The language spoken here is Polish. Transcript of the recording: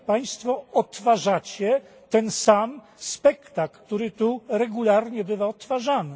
Państwo odtwarzacie ten sam spektakl, który tu regularnie bywa odtwarzany.